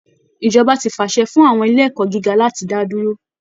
Ìjọba ti fàṣẹ fún àwọn ilé ẹ̀kọ́ gíga láti dá dúró